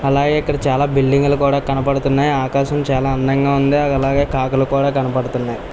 అలాగే ఇక్కడ చాలా బిల్డింగ్ లు కూడా కనబడుతున్నాయి. ఆకాశం చాలా అందంగా ఉంది. అలాగే కాకులు కూడా కనబడుతున్నాయి.